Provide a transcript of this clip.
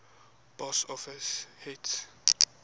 box office hit